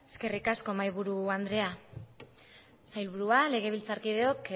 eskerrik asko mahaiburu andrea sailburua legebiltzarkideok